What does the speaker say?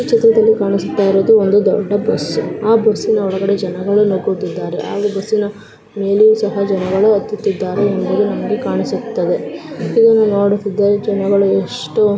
ಈ ಚಿತ್ರದಲ್ಲಿ ಕಾಣಿಸುತ್ತ ಇರುವುದು ಒಂದು ದೊಡ್ಡ ಬಸ್ ಆ ಬಸ್ಸಿನ ಒಳಗಡೆ ಜನಗಳು ನುಗ್ಗುತ್ತಿದ್ದಾರೆ ಹಾಗು ಬಸ್ಸಿನ ಮೇಲೆಯೂ ಸಹ ಜನಗಳು ಹತ್ತುತ್ತಿತ್ತಾದ್ದರೆ ಎಂಬುದು ನಮಗೆ ಕಾಣಿಸುತ್ತಾ ಇದೆ. ಇದನ್ನು ನೋಡುತ್ತಿದ್ದರೆ ಜನಗಳು ಎಷ್ಟು--